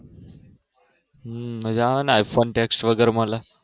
હમ મજ આવે ને ifon Text વગર મળે